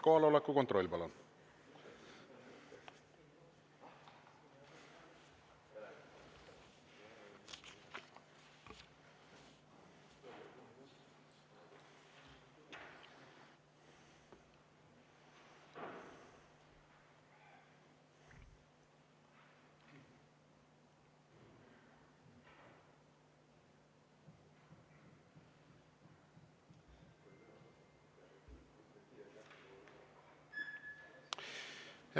Kohaloleku kontroll, palun!